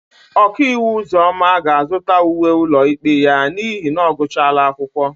Okaiwu Ụzọma ga-azụta uwe ụlọikpe ya n'ihi na ọ gụchala akwụkwọ.